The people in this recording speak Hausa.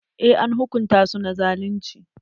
Eh, an hukunta su na zalunci.